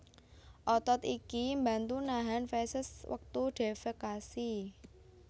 Otot iki mbantu nahan feses wektu defekasi